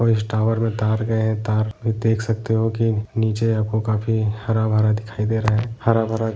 और इस टावर में तार गए हैं तार भी देख सकते हो की नीचे आपको काफी हरा-भरा दिखाई दे रहा है हरा भरा --